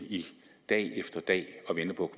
dag efter dag og venter på